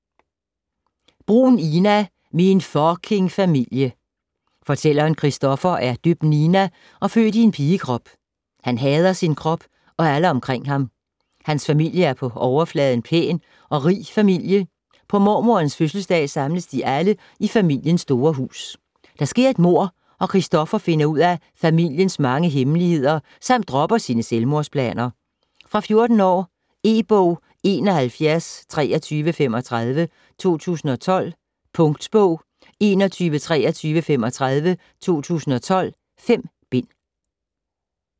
Bruhn, Ina: Min fucking familie Fortælleren Christoffer er døbt Nina og født i en pigekrop. Han hader sin krop og alle omkring ham. Hans familie er på overfladen en pæn og rig familie. På mormoderens fødselsdag samles de alle i familiens store hus. Der sker et mord, og Christoffer finder ud af familiens mange hemmeligheder samt dropper sine selvmordsplaner. Fra 14 år. E-bog 712335 2012. Punktbog 412335 2012. 5 bind.